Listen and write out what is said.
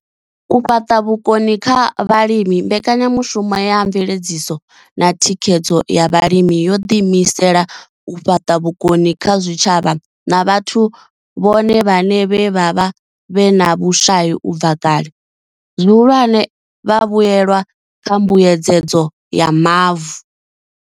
U fhaṱa vhukoni kha vhalimi mbekanyamushumo ya mveledziso na thikhedzo ya vhalimi yo ḓi imisela u fhaṱa vhukoni kha zwitshavha na vhathu vhone vhaṋe vhe vha vha vhe na vhushai u bva kale, zwihulwane, vhavhuelwa kha mbuedzedzo ya mavu.